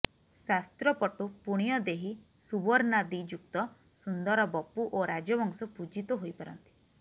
ଶାସ୍ତ୍ରପଟୁ ପୁଣ୍ୟଦେହୀ ସୁବର୍ଣ୍ଣାଦିଯୁକ୍ତ ସୁନ୍ଦର ବପୁ ଓ ରାଜବଂଶ ପୂଜିତ ହୋଇପାରନ୍ତି